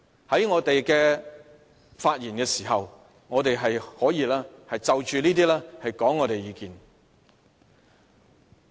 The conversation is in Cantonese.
在我們發言時，我們可以就着這些決定發表意見。